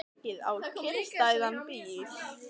Ekið á kyrrstæðan bíl